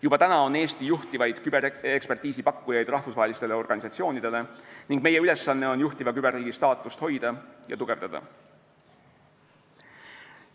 Juba täna on Eesti üks juhtivaid küberekspertiisi pakkujaid rahvusvahelistele organisatsioonidele ning meie ülesanne on juhtiva küberriigi staatust hoida ja tugevdada.